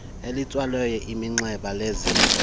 elitsalelwa iminxeba lezikolo